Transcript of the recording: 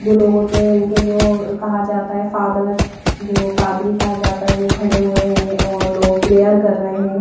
जो लोग होते हैं उनके जो कहा जाता है फादर जो पादरी कहा जाता है वो खड़े हुए हैं और लोग प्रेयर कर रहे हैं।